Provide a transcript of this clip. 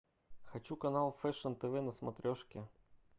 хочу канал фэшн тв на смотрешке